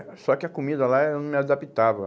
só que a comida lá, eu não me adaptava.